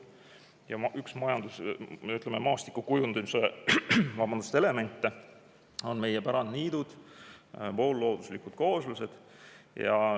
Ja üks maastikukujundamise elemente on meie pärandniidud, poollooduslikud kooslused.